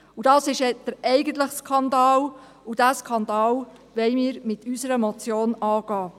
Das war der eigentliche Skandal, und diesen Skandal wollen wir mit unserer Motion angehen.